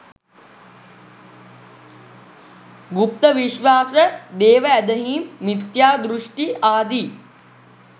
ගුප්ත විශ්වාස, දේවඇදහීම්, මිථ්‍යා දෘෂ්ටි, ආදි